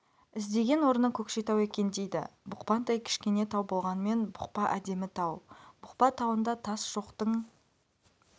іздеген орны көкшетау екен дейді бұқпантай кішкене тау болғанмен бұқпа әдемі тау бұқпа тауында тас жоқтың